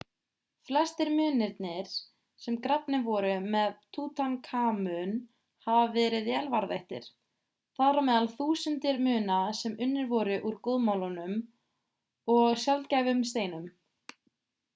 flestir munirnir sem grafnir voru með tutankhamun hafa verið vel varðveittir þar á meðal þúsundir muna sem unnir voru úr góðmálmum og sjaldgæfum steinum